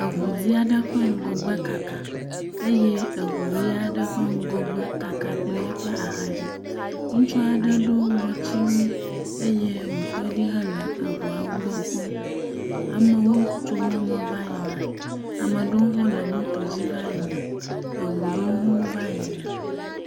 Eŋu dzɛ̃ aɖe ƒe ŋgɔgbɔ kaka eye eŋu ʋe aɖe ƒe ŋgɔgbe kaka kple eƒe axa dzi, ŋutsu aɖe do ŋɔti wui eye wòtɔ ɖi le eŋuawo gbɔ kpɔm. Ame aɖewo tso mɔ me va yina, ame aɖewo hã le moto dzi va yina, eŋu ɖewo hã va yina.